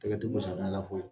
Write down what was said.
Tɛgɛ tɛ ko safina foyi!